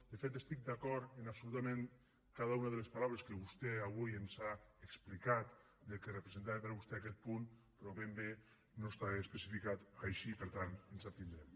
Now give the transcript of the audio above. de fet estic d’acord en absolutament cada una de les paraules que vostè avui ens ha explicat del que representava per a vostè aquest punt però ben bé no està especificat així per tant ens hi abstindrem